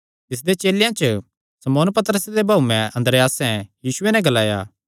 तिसदे चेलेयां च शमौन पतरसे दे भाऊयें अन्द्रियासैं यीशुये नैं ग्लाया